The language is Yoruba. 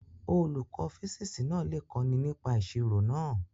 Olùkọ́ físíìsì náà lè kọ́ni nípa ìṣirò náà.